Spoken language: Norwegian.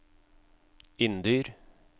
Inndyr